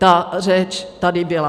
Ta řeč tady byla.